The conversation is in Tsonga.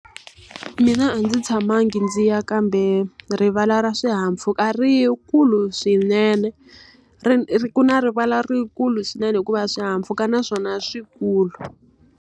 Mina a ndzi tshamangi ndzi ya kambe rivala ra swihahampfhuka ri kulu swinene. ku na rivala rikulu swinene hikuva swihahampfhuka naswona i swi kulu.